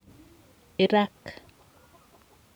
Iraq